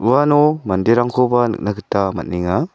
uano manderangkoba nikna gita man·enga.